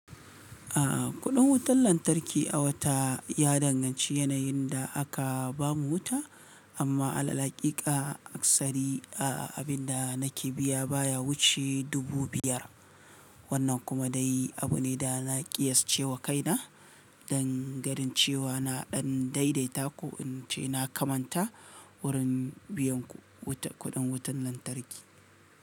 A'a kuɗin wutar lantarki a wata ya danganci yanayin da aka bamu wuta amma alal hakika aksari a abinda nake biya baya wuce dubu biyar wannan kuma dai abune da na ƙiyascewa kaina dan ganin cewa na ɗan daidaita ko in ce na kamanta wurin biyan kuɗin wutar lantarki.